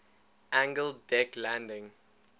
angled deck landing